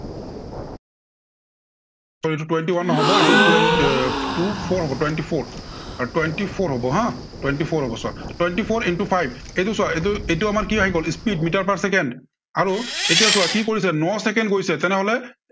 আহ এইটো twenty one নহব, এইটো twen two four হব twenty four, twenty four হব হা। twenty four হব চোৱা। twenty four into five এইটো চোৱা, এইটো এইটো আমাৰ কি আহি গ'ল, speed মিটাৰ per চেকেণ্ড। আৰু এতিয়া চোৱা কি কৰিছে ন চেকেণ্ড গৈছে তেনেহলে